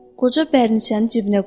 Qoca bərniçəni cibinə qoydu.